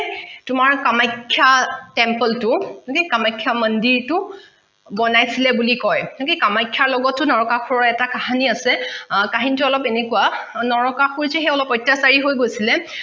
তোমাৰ কামাখ্যা temple টো কামাখ্যা মন্দিৰটো বনাইচিলে বুলি কয় okay কামাখ্যাৰ লগতো নৰকাসুৰৰ এটা কাহীনি আছে কাহীনিটো অলপ এনেকুৱা নৰকাসুৰ যে অলপ অত্যাচাৰী হৈ গৈছিলে